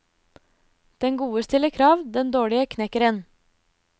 Den gode stiller krav, den dårlige knekker en.